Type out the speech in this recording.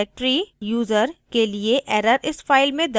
directory /user के लिए error इस file में दर्ज हो गई है